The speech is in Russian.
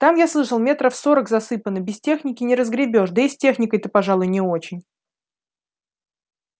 там я слышал метров сорок засыпано без техники не разгребёшь да и с техникой-то пожалуй не очень